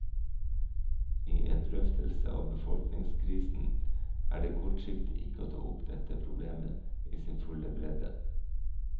I en drøftelse av befolkningskrisen er det kortsiktig ikke å ta opp dette problemet i sin fulle bredde.